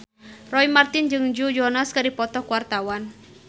Roy Marten jeung Joe Jonas keur dipoto ku wartawan